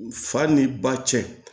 Fa ni ba cɛ